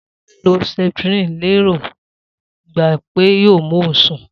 Sola lo septrin lérò ń gba pé yoo mú òun sún